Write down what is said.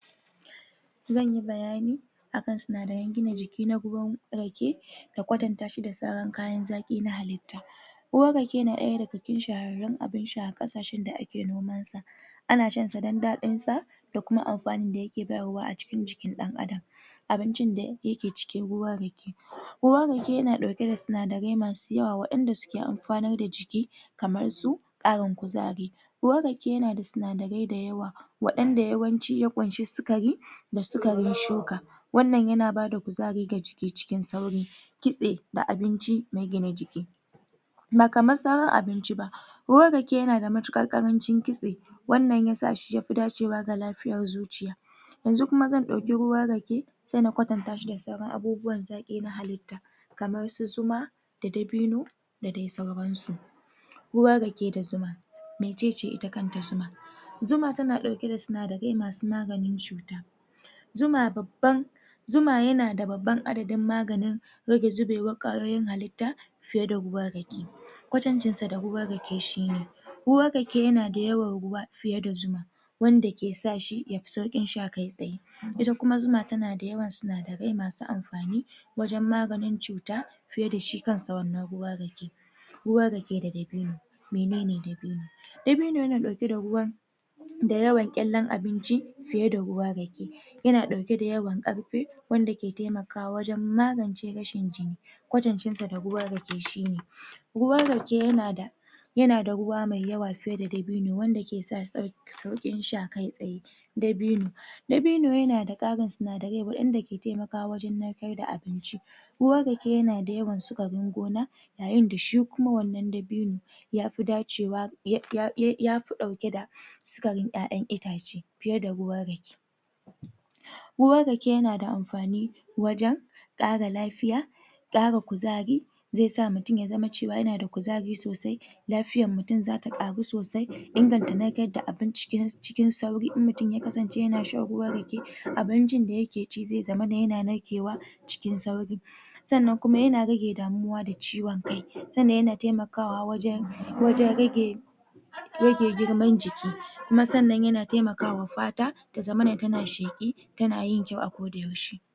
Zanyi bayani akan sinadaren gina jiki na ruwan rake da kwatanta shi da kayan zaƙi na halittu ruwan rake na ɗaya daga cikin shahararrun abun sha a ƙasashen da ake noma ana shan sa don daɗin sa da kuma amfanin da yake bayarwa a cikin jikin ɗan Adam abincin da yake cikin ruwan rake ruwan rake yana dauke da sinadarai masu yawa waɗanda suke amfanar da jiki kamar su ƙarin kuzari ruwan rake yanada sinadarai da yawa waɗanda yawanci ya ƙunshi sukari da suka shuka wannan yana bada kuzari ga jiki cikin sauƙi kitse da abinci mai gina jiki ba kaman sauran abinci ba ruwan rake yanada matuƙar ƙarancin kitse wannan ya sa shi yafi dacewa da lafiyar zuciya yanzu kuma zan ɗauki ruwan rake sai na kwatanta shi da sauran abubuwan zaƙi na halitta kamar su zuma, da dabino da dai sauransu. ruwan rake da zuma, mecece ita kanta zuma zuma tana ɗauke da sinadare masu maganin cuta zuma babban zuma yanada babban adadin maganin rage zubewar kwayoyin halitta fiye da ruwan rake kwantancin sa da ruwan rake shine ruwan rake yana da yawan ruwa fiye da zuma wanda ke sa shi yafi sauƙin sha kai tsaye ita kuma zuna tanada yawan sinadare masu amfani wajen maganin cuta fiye da shi kanshi wannan ruwan raken ruwan rake da dabino, menene dabino dabino yana ɗauke da ruwan da yawan ƙyallen abinci fiye da ruwan rake yana ɗauke da yawan ƙarfe wanda ke taimakawa wajen magance rashin jini kwatancin sa da ruwan rake shine ruwan rake yanada ruwa mai yawa fiye da dabino wanda ke sa sauƙin sauƙin sha kai tsaye dabino dabino yanada ƙarin sinadare waɗanda ke taimakawa wajen narkar da abinci ruwan rake yanada yawan sukarin gona yayin da shi kuma wannan dabino ya fi dacewa ya fi ɗauke da sukarin ƴaƴan itace fiye da ruwan rake ruwan rake yanada amfani wajen kara lafiya ƙara kuzari sai sa mutum ya zama cewa yanada kuzari sosai lafiyar mutum zata ƙaru sosai inganta narkar da abinci cikin sauri in mutum ya kasance yana shan ruwan rake abincin da yake ci zai zama yana narkewa cikin sauri sannan kuma yana rage damuwa da ciwon kai sannan yana taimakawa wajen rage rage girman jiki kuma sannan yana taimaka wa fata ta zama tana sheƙi tana yin kyau a ko da yaushe.